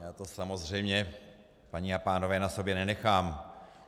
Já to samozřejmě, paní a pánové, na sobě nenechám.